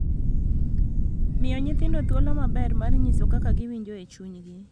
Miyo nyithindo thuolo maber mar nyiso kaka giwinjo e chunygi